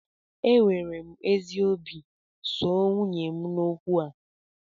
Enwere m ezi obi soo nwunye m n'okwu a